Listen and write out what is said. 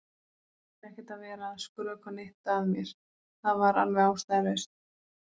Þú þurftir ekkert að vera að skrökva neitt að mér, það var alveg ástæðulaust.